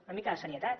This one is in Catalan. una mica de serietat